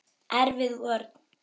Erfið vörn.